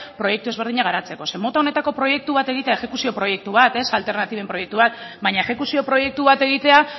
proiektu ezberdinak garatzeko zeren mota honetako proiektu bat egitea exekuzio proiektu bat alternatiben proiektu bat baina exekuzio proiektu bat egitea